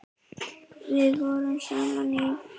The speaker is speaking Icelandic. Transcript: Við vorum saman í